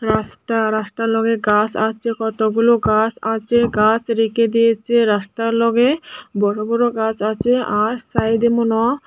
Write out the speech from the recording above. রাস্টা রাস্টার লগে গাছ আছে কতগুলো গাছ আছে গাছ রেখে দিয়েচে রাস্টার লগে বড়ো বড়ো গাছ আছে আর সাইডে মনে হ্--